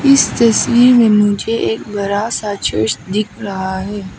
इस तस्वीर में मुझे एक बड़ा सा चर्च दिख रहा है।